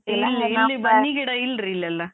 ಬನ್ನಿ ಗಿಡ ಇಲ್ರೀ ಇಲ್ಲೆಲ್ಲ.